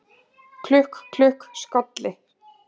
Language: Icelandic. Klukk, klukk, skolli